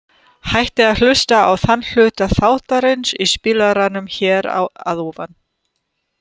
Hægt er að hlusta á þann hluta þáttarins í spilaranum hér að ofan.